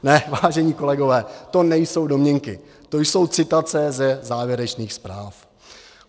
Ne, vážení kolegové, to nejsou domněnky, to jsou citace ze závěrečných zpráv.